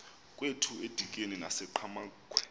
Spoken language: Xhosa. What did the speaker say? kwethu edikeni nasenqhamakhwe